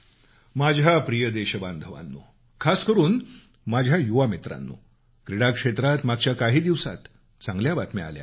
माझ्या प्रिय देशबांधवांनो खास करून माझ्या युवा मित्रांनो क्रीडा क्षेत्रात मागच्या काही दिवसात चांगल्या बातम्या आल्यात